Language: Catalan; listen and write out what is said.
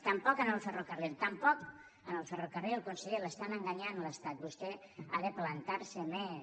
tampoc en el ferrocarril tampoc en el ferrocarril conseller l’està enganyant l’estat vostè ha de plantar se més